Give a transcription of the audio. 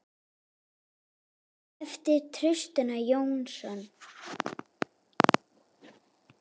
eftir Trausta Jónsson